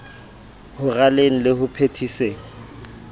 ho raleng le ho phethiseng